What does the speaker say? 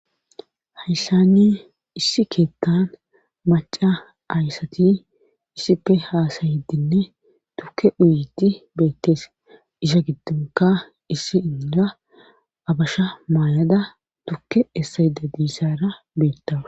hayssani issi keettan maca ayssati issipe haasayidinne tukke uuyeddi beettees iza giddonka issi inda abasha maayada tukke essayida diizara beettawus